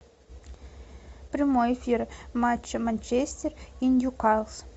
прямой эфир матча манчестер и ньюкасл